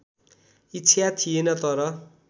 इच्छा थिएन तर